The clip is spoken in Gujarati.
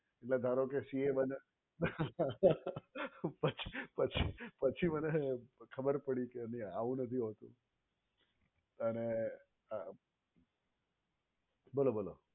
ધારો કે CA બન્યા પછી પછી એટલે ખબર પડી કે ભાઈ આવું નથી હોતું અને આ બોલો બોલો